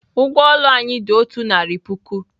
Ụgwọ ụlọ anyị dị otu narị puku.